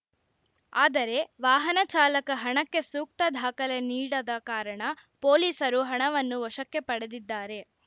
ಆದರೆ ವಾಹನ ಚಾಲಕ ಹಣಕ್ಕೆ ಸೂಕ್ತ ದಾಖಲೆ ನೀಡದ ಕಾರಣ ಪೊಲೀಸರು ಹಣವನ್ನು ವಶಕ್ಕೆ ಪಡೆದಿದ್ದಾರೆ